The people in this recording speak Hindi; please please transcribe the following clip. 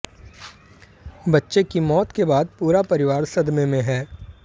बच्चे की मौत के बाद पूरा परिवार सदमे में है